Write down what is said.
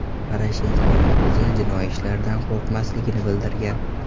Poroshenkoning o‘zi jinoiy ishlardan qo‘rqmasligini bildirgan.